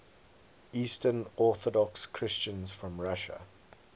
eastern orthodox christians from russia